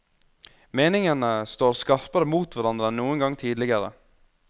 Meningene står skarpere mot hverandre enn noen gang tidligere.